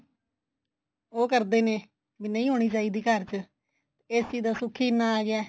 ਉਹ ਕਰਦੇ ਨੇ ਵੀ ਨਹੀਂ ਹੋਣੀ ਚਾਹੀਦੀ ਘਰ ਚ AC ਦਾ ਸੁੱਖ ਹੀ ਇੰਨਾ ਆ ਗਿਆ